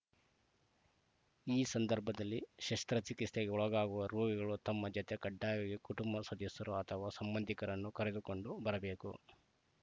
ಈ ಸಂದರ್ಭದಲ್ಲಿ ಶಸ್ತ್ರಚಿಕಿತ್ಸೆಗೆ ಒಳಗಾಗುವ ರೋಗಿಗಳು ತಮ್ಮ ಜತೆ ಕಡ್ಡಾಯವಾಗಿ ಕುಟುಂಬ ಸದಸ್ಯರು ಅಥವಾ ಸಂಬಂಧಿಕರನ್ನು ಕರೆದುಕೊಂಡು ಬರಬೇಕು